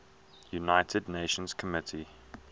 united nations committee